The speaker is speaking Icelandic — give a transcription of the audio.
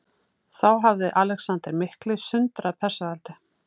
Þá hafði Alexander mikli sundrað Persaveldi.